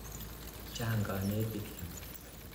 Chang' kanetik yu.